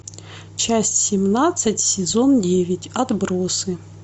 часть семнадцать сезон девять отбросы